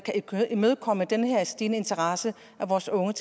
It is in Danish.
kan imødekomme den her stigende interesse fra vores unge